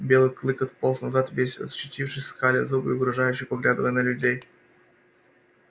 белый клык отполз назад весь ощетинившись скаля зубы и угрожающе поглядывая на людей